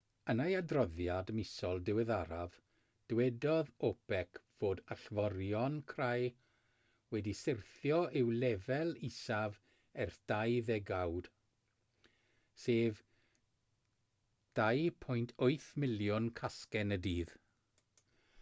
yn ei adroddiad misol diweddaraf dywedodd opec fod allforion crai wedi syrthio i'w lefel isaf ers dau ddegawd sef 2.8 miliwn casgen y dydd